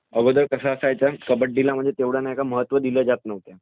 अगोदर कसं असायचं, कबड्डीला तितकंसं महत्व दिलं जात नव्हतं.